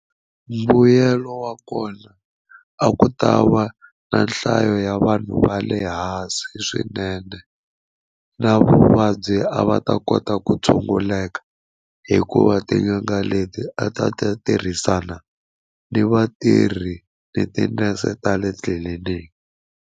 Mbuyelo wa kona a ku ta va na nhlayo ya vanhu va le hansi swinene na vuvabyi a va ta kota ku tshunguleka hikuva tin'anga leti a ta ta tirhisana ni vatirhi ni tinese ta le tliliniki.